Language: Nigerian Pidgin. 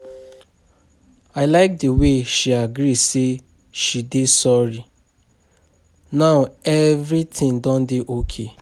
I like the way she agree say she dey sorry now everything don dey okay.